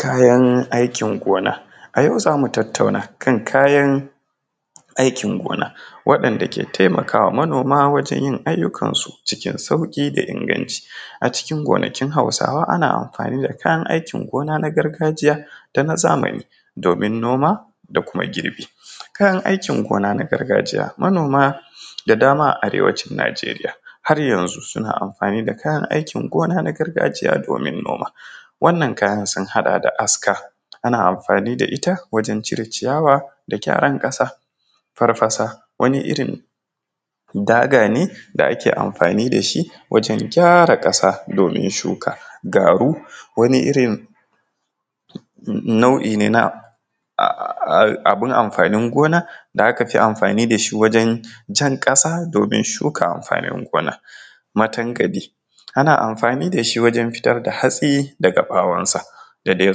Kayan aikin gona, a yau zamu tattauna kan kayan aikin gona waɗanɗa ke taimakawa manoma wajen yin ayukan su cikin yin sauki da inganci, a cikin gonakin hausawa ana amfani da kayan aikin gona na gargajiya da na zamani domin noma da kuma girbi, kayan aikin gona na gargajiya manoma da dama a arewacin Nigeriya har yanzu suna amfani da kayan aikin gona na gargajiya domin noma wannan kayan sun haɗa da Aska ana amfani da ita wajen cire ciyawa da gyaran kasa, Farfasa wani irin daga ne da ake amfani da shi wajen gyara kasa domin shuka, Garu wani irin nau’i ne na abun amfanin gona da aka fi amfani da shi wajen jan kasa domin shuka amfanin gona, Matankaɗi ana amfani da shi wajen fitar da hatsi daga ɓawan sa da dai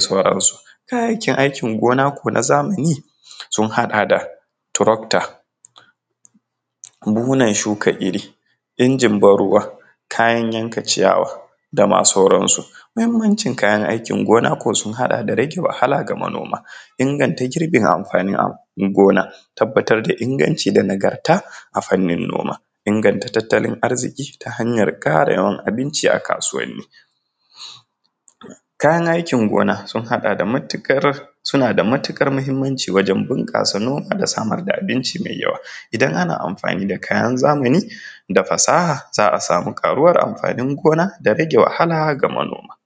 sauransu. Kayayyakin aikin gona na zamani sun haɗa da trocter, buhunan shuka iri, injin ban ruwa, kayan yanka ciyawa dama sauransu. Muhimmancin kayan aikin gona ko sun haɗa da rage wahala ga manoma, inganta girbin amfanin gona, tabbatar da inganci da nagarta a fannin noma, inganta tattalin arziki ta hanyar karewan abinci a kasuwani. Kayan aikin gona sun haɗa da suna da matukar muhimmanci wajen bunkasa noma da samar da abinci mai yawa, idan ana amfani da kayan zamani da fasaha za a samu karuwan amfanin gona da rage wahala ga manoma.